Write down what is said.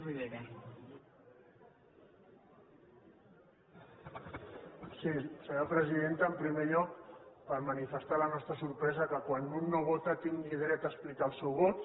sí senyora presidenta en primer lloc per manifestar la nostra sorpresa que quan un no vota tingui dret a explicar el seu vot